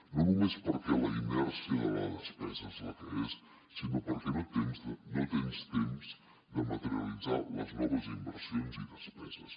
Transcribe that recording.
no només perquè la inèrcia de la despesa és la que és sinó perquè no tens temps de materialitzar les noves inversions i despeses